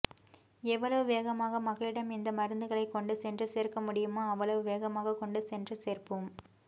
எவ்வளவு வேகமாக மக்களிடம் இந்த மருந்துகளை கொண்டு சென்று சேர்க்க முடியுமோ அவ்வளவு வேகமாக கொண்டுசென்று சேர்ப்போம்